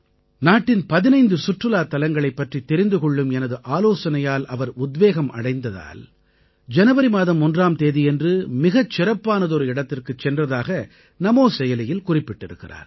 நாட்டின் 15 சுற்றுலாத் தலங்களைப் பற்றித் தெரிந்து கொள்ளும் எனது ஆலோசனையால் அவர் உத்வேகம் அடைந்ததால் ஜனவரி மாதம் 1ஆம் தேதியன்று மிகச் சிறப்பானதொரு இடத்திற்குச் சென்றதாக நமோ செயலியில் குறிப்பிட்டிருக்கிறார்